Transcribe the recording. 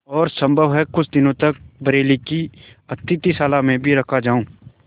और सम्भव है कुछ दिनों तक बरेली की अतिथिशाला में भी रखा जाऊँ